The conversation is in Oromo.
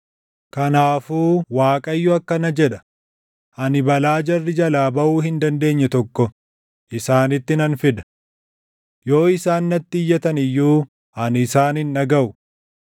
Kanaafuu Waaqayyo akkana jedha; ‘Ani balaa jarri jalaa baʼuu hin dandeenye tokko isaanitti nan fida. Yoo isaan natti iyyatan iyyuu ani isaan hin dhagaʼu.